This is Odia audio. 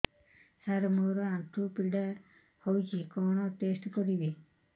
ସାର ମୋର ଆଣ୍ଠୁ ପୀଡା ହଉଚି କଣ ଟେଷ୍ଟ କରିବି